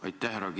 Aitäh!